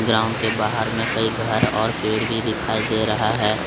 Ground के बाहर में कई घर और पेड़ भी दिखाई दे रहा है।